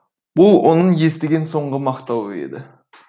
бұл оның естіген соңғы мақтауы еді